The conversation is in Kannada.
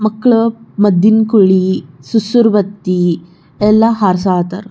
ಮಕ್ಕಳು ಮದ್ದಿನ ಕೋಳಿ ಸುಸೂರ್ ಬತ್ತಿ ಎಲ್ಲಾ ಹಾರಸ್ಯ ಹತ್ತರ್.